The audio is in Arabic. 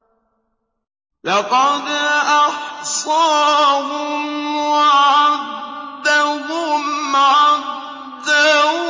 لَّقَدْ أَحْصَاهُمْ وَعَدَّهُمْ عَدًّا